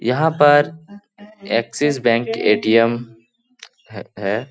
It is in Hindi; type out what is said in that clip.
यहाँ पर एक्सिस बैंक ए.टी.एम. है ।